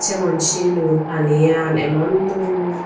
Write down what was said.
jemon silun paniyan emon dol.